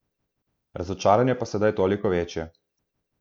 Razočaranje pa sedaj toliko večje.